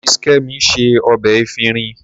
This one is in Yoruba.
Mrs. Kemi se ọbẹ̀ efinrin.